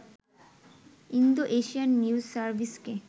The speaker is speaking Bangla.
Indo-Asian news সার্ভিসকে